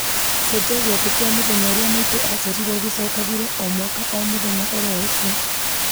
cenjia gĩathĩ kĩa mũthenya ũrĩa maitũ aciarirwo gĩcokagĩre o mwaka o mũthenya oro ũcio